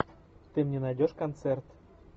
ты мне найдешь концерт